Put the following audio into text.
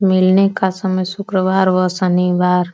मिलने का समय शुक्रवार व शनिवार --